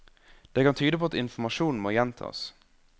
Det kan tyde på at informasjon må gjentas.